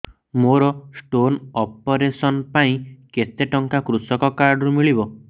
ମୋର stone operation ପାଇଁ କେତେ ଟଙ୍କା କୃଷକ କାର୍ଡ ରୁ ମିଳିବ